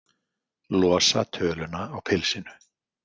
Losa töluna á pilsinu.